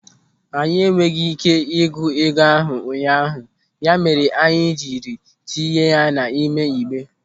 Anyị enweghị ị́ké ịgụ ego ahụ ụnyaahụ, ya mere anyị jiri tinye ya n'ime igbe.